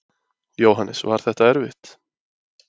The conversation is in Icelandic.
Jóhannes: Var þetta erfitt?